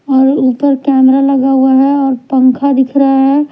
और ऊपर कैमरा लगा हुआ है और पंखा दिख रहा है।